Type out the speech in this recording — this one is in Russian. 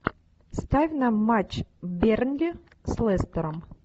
ставь нам матч бернли с лестером